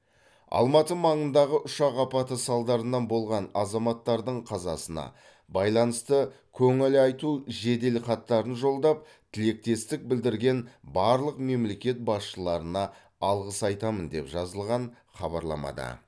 алматы маңындағы ұшақ апаты салдарынан болған азаматтардың қазасына байланысты көңіл айту жеделхаттарын жолдап тілектестік білдірген барлық мемлекет басшыларына алғыс айтамын деп жазылған хабарламада